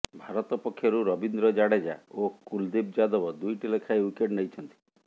ଭାରତ ପକ୍ଷରୁ ରବୀନ୍ଦ୍ର ଜାଡେଜା ଓ କୁଲଦୀପ ଯାଦବ ଦୁଇଟି ଲେଖାଏ ୱିକେଟ୍ ନେଇଛନ୍ତି